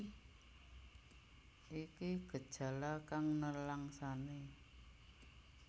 Iki gejala kang nelangsani